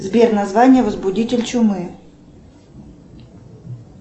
сбер название возбудитель чумы